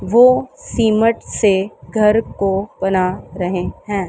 वो सिमट से घर को बना रहे हैं।